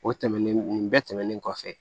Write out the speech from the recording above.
O tɛmɛnen nin bɛɛ tɛmɛnen kɔfɛ